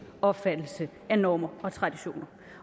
opfattelse af normer og traditioner